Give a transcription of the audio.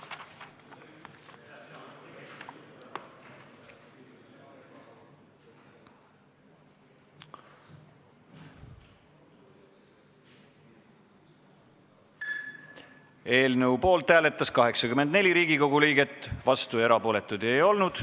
Hääletustulemused Eelnõu poolt hääletas 84 Riigikogu liiget, vastuolijaid ega erapooletuid ei olnud.